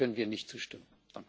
Dem können wir nicht zustimmen.